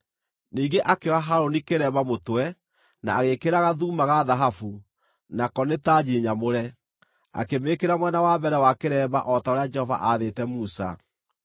Ningĩ akĩoha Harũni kĩremba mũtwe, na agĩĩkĩra gathuuma ga thahabu, nako nĩ tanji nyamũre, akĩmĩĩkĩra mwena wa mbere wa kĩremba o ta ũrĩa Jehova aathĩte Musa.